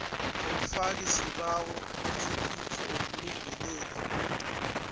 womfakisibawo umtlikitlo womlungeleli